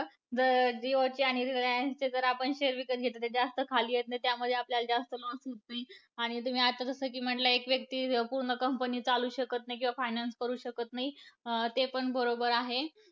जर जियोचे आणि रिलायन्सचे जर आपण share विकत घेतले तर ते जास्त खाली येत नाहीत, त्यामध्ये आपल्याला जास्त loss होत नाही. आणि तुम्ही आत्ता जसं की म्हणल्या की, एक व्यक्ती पूर्ण company चालवू शकत नाही. किंवा finance करू शकत नाही ते पण बरोबर आहे.